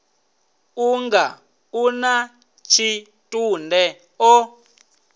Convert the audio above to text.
unga u na tshitunde o